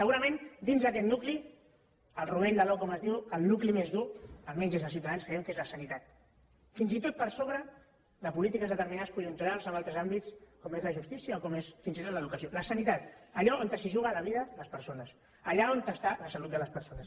segurament dins d’aquest nucli el rovell de l’ou com es diu el nucli més dur almenys des de ciutadans creiem que és la sanitat fins i tot per sobre de polítiques determinades conjunturals en altres àmbits com és la justícia o com és fins i tot l’educació la sanitat allà on es juguen la vida les persones allà on està la salut de les persones